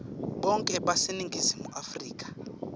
bonkhe baseningizimu afrika